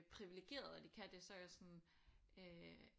Priviligerede at I kan det så er jeg sådan øh